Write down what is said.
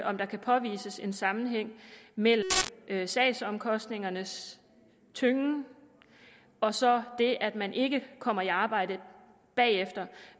om der kan påvises en sammenhæng mellem sagsomkostningernes tyngen og så det at man ikke kommer i arbejde bagefter